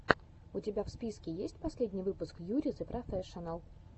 у тебя в списке есть последний выпуск юри зэ профэшинал